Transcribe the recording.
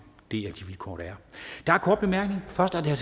det er de vilkår der er der er korte bemærkninger og først er det